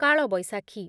କାଳବୈଶାଖୀ